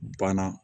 Banna